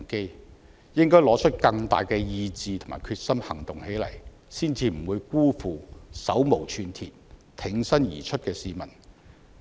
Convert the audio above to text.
政府應該拿出更大的意志和決心行動起來，才不會辜負手無寸鐵、挺身而出的市民。